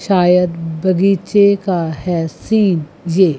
शायद बगीचे का है सीन ये--